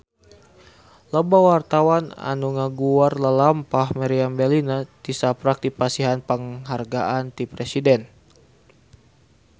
Loba wartawan anu ngaguar lalampahan Meriam Bellina tisaprak dipasihan panghargaan ti Presiden